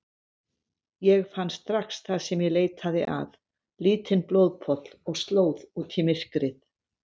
Ég fann strax það sem ég leitaði að, lítinn blóðpoll og slóð út í myrkrið.